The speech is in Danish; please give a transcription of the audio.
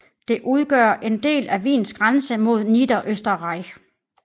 Det udgør en del af Wiens grænse mod Niederösterreich